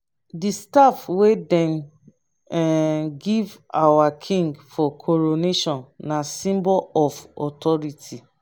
di staff wey dem um give our king for coronation na symbol of authority.